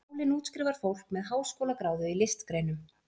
Skólinn útskrifar fólk með háskólagráðu í listgreinum.